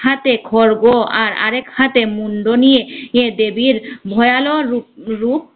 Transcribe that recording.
এক হাতে খর্গ আর আরেক হাতে মুন্ড নিয়ে ইয়ে দেবীর ভয়ানর রু~ রূপ